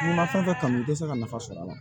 N'i ma fɛn kanu i tɛ se ka nafa sɔrɔ a la